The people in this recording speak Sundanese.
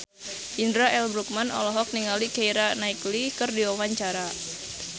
Indra L. Bruggman olohok ningali Keira Knightley keur diwawancara